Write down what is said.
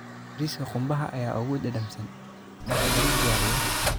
Bariiska qumbaha ayaa ugu dhadhamsan marka lagu diyaariyo qumbaha cusub ee xeebta.